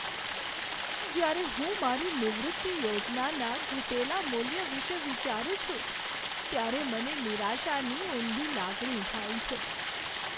જ્યારે હું મારી નિવૃત્તિ યોજનાના ઘટેલા મૂલ્ય વિશે વિચારું છું ત્યારે મને નિરાશાની ઊંડી લાગણી થાય છે.